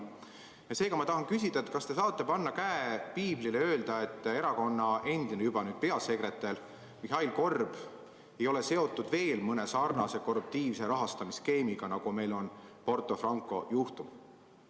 Seepärast ma küsin: kas te saate panna käe piiblile ja öelda, et erakonna endine – nüüd juba endine – peasekretär Mihhail Korb ei ole seotud veel mõne samasuguse korruptiivse rahastamisskeemiga, nagu on Porto Franco juhtum?